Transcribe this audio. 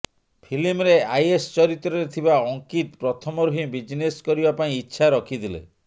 ଫିଲ୍ମରେ ଆଇଏସ୍ ଚରିତ୍ରରେ ଥିବା ଅଙ୍କିତ ପ୍ରଥମରୁ ହିଁ ବିଜନେସ୍ କରିବା ପାଇଁ ଇଚ୍ଛା ରଖିଥିଲେ